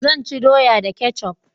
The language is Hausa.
Zan ci doya da kecaf